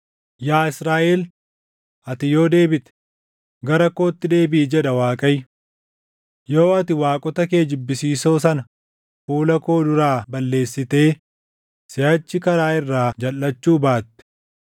“Yaa Israaʼel, ati yoo deebite, gara kootti deebiʼi” jedha Waaqayyo. “Yoo ati waaqota kee jibbisiisoo sana // fuula koo duraa balleessitee siʼachi karaa irraa jalʼachuu baatte,